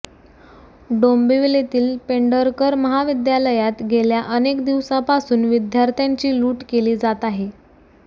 डोंबिवलीतील पेंढरकर महाविद्यालयात गेल्या अनेक दिवसापासून विद्यार्थ्यांची लूट केली जात आहे